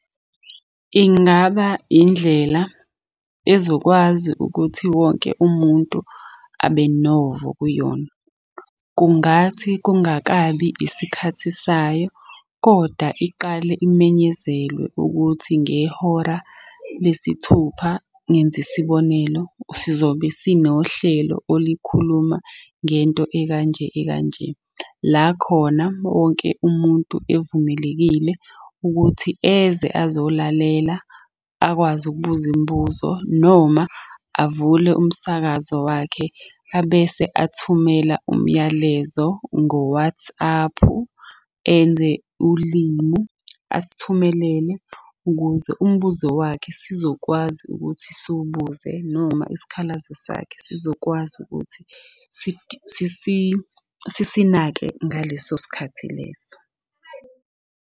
Ingaba indlela ezokwazi ukuthi wonke umuntu abe novo kuyona. Kungathi kungakabi isikhathi sayo, kodwa iqale imenyezelwe ukuthi ngehora lesithupha, ngenza isibonelo, sizobe sinohlelo olikhuluma ngento ekanje ekanje. La khona wonke umuntu evumelekile ukuthi eze azolalela akwazi ukubuza imibuzo noma avule umsakazo wakhe, abese athumela umyalezo ngoWathaphu, enze ulimu. Asithumelele ukuze umbuzo wakhe sizokwazi ukuthi siwubuze noma isikhalazo sakhe sizokwazi ukuthi sisinake ngaleso sikhathi leso.